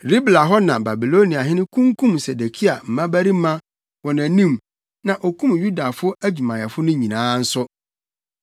Ribla hɔ na Babiloniahene kunkum Sedekia mmabarima wɔ nʼanim na okum Yudafo adwumayɛfo nyinaa nso.